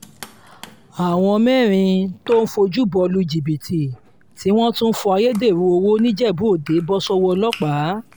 àwọn mẹ́rin tó ń fọ́júbọ́ lu jìbìtì tí wọ́n tún ń fọ ayédèrú owó nìjẹ́bú-òde bọ́ sọ́wọ́ ọlọ́pàá